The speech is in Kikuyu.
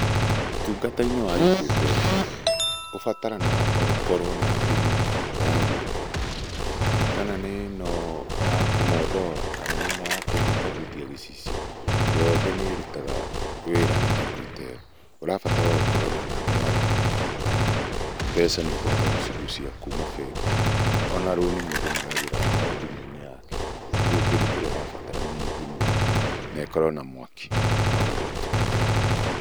Ũtungata-inĩ wa Equitel ubataranaga oũkorwo na thimũ ya gũoko kana nĩ-ĩno ya kũmondora kana nĩno ya kũhũtahũtia gĩcicio yothe nĩrũtaga wĩra na Equitel. Urabatara oũkorwo na namba ya thimũ, mbeca nĩũkũhota gũcigũcia kũma bengi ona rũni mũndũ nĩoyagĩra o thimũ-inĩ yake. Kogũo kĩndũ kĩrĩa ũrabatara nĩ thimũ na ĩkorwo na mwaki oũguo tu.